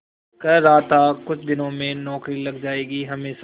कह रहा था कुछ दिनों में नौकरी लग जाएगी हमेशा